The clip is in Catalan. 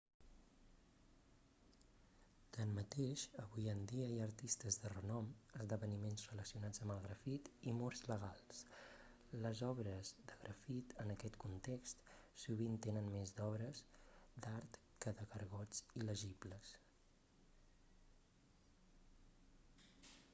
tanmateix avui en dia hi ha artistes de renom esdeveniments relacionats amb el grafit i murs legals les obres de grafit en aquest context sovint tenen més d'obres d'art que de gargots il·legibles